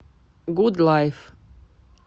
гуд лайф